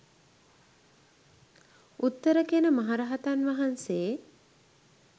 උත්තර කියන මහරහතන් වහන්සේ